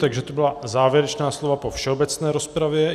Takže to byla závěrečná slova po všeobecné rozpravě.